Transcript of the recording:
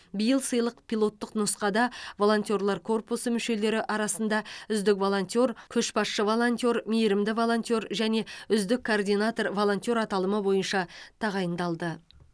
биыл сыйлық пилоттық нұсқада волонтерлар корпусы мүшелері арасында үздік волонтер көшбасшы волонтер мейірімді волонтер және үздік координатор волонтер аталымы бойынша тағайындалды